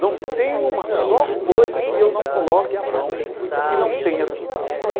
Não tem uma só coisa que eu não coloque a mão que não tenha resultado.